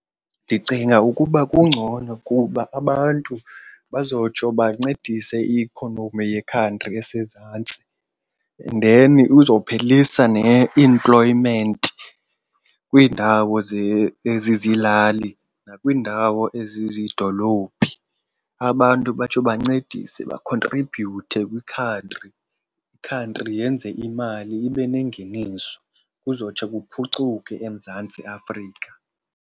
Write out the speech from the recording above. Ndicinga ukuba kungcono kuba abantu bazotsho bancedise i-economy yekhantri esezantsi and then uzophelisa ne-employment kwiindawo ezizilali nakwiindawo ezizidolophini. Abantu batsho bancedise bakhontribhuyuthe kwikhantri, ikhantri yenze imali ibe nengeniso kuzotsho kuphucuke eMzantsi Afrika.